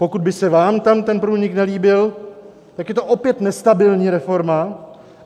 Pokud by se vám tam ten průnik nelíbil, tak je to opět nestabilní reforma.